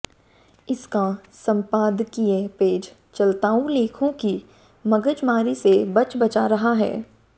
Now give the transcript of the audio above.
इसका संपादकीय पेज चलताऊ लेखों की मगजमारी से बजबचा रहा है